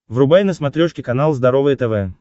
врубай на смотрешке канал здоровое тв